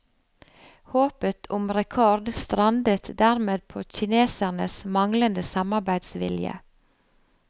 Håpet om rekord strandet dermed på kinesernes manglende samarbeidsvilje.